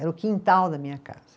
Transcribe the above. Era o quintal da minha casa.